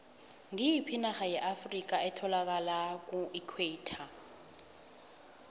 ngoyiphi inarha yeafrikha etholakala kuequator